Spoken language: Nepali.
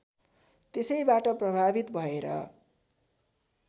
त्यसैबाट प्रभावित भएर